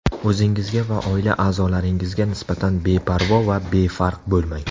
O‘zingizga va oila a’zolaringizga nisbatan beparvo va befarq bo‘lmang!